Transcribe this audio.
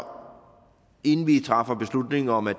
inden vi træffer beslutning om at